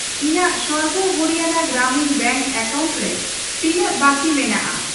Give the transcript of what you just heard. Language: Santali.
ᱤᱧᱟᱜ ᱥᱚᱨᱵᱚ ᱦᱚᱨᱤᱭᱟᱱᱟ ᱜᱨᱟᱢᱤᱱ ᱵᱮᱝᱠ ᱮᱠᱟᱣᱩᱱᱴ ᱨᱮ ᱛᱤᱱᱟᱹᱜ ᱵᱟᱹᱠᱤ ᱵᱟᱹᱠᱤ ᱢᱮᱱᱟᱜᱼᱟ ?